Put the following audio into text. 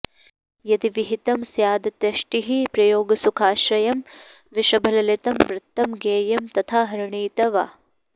यदि विहितं स्यादत्यष्टिः प्रयोगसुखाश्रयं वृषभललितं वृत्तं ज्ञेयं तथा हरिणीति वा